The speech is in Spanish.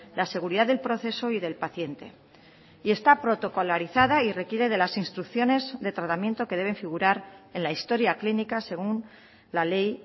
la seguridad del proceso y del paciente y está protocolarizada y requiere de las instrucciones de tratamiento que deben figurar en la historia clínica según la ley